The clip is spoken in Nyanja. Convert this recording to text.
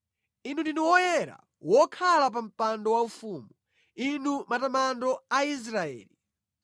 Inu ndinu Woyera, wokhala pa mpando waufumu; ndinu matamando a Israeli.